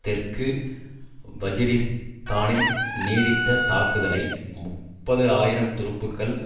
தெற்கு வஜீரிஸ்தானில் நீடித்த தாக்குதலை முப்பது ஆயிரம் துருப்புகள்